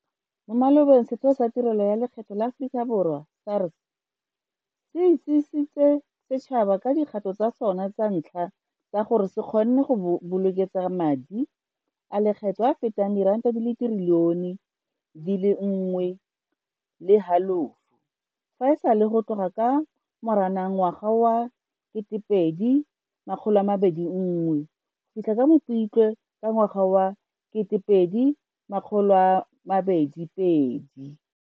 Mo malobeng Setheo sa Tirelo ya Lekgetho la Aforika Borwa SARS. Se itsisitse setšhaba ka dikgato tsa sona tsa ntlha tsa gore se kgonne go bokeletsa madi a lekgetho a a fetang diranta di le ditrilione di le 1.5 fa e sale go tloga ka Moranang ketepedi makgolo a mabedi ngwe go fitlha ka Mopitlwe ka ngwaga wa ketepwedi makgolo a mabedi pedi.